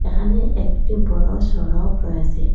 এখানে একটি বড় সড়ক রয়েসে।